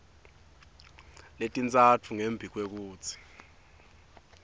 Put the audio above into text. letintsatfu ngembi kwekutsi